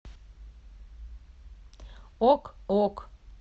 ок ок